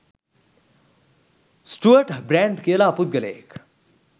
Stuart Brand කියලා පුද්ගලයෙක්